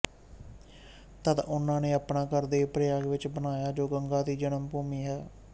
ਤਦ ਉਹਨਾਂ ਨੇ ਆਪਣਾ ਘਰ ਦੇਵ ਪ੍ਰਯਾਗ ਵਿੱਚ ਬਣਾਇਆ ਜੋ ਗੰਗਾ ਦੀ ਜਨਮ ਭੂਮੀ ਹੈ